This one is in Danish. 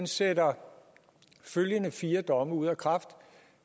sætter følgende fire domme ud af kraft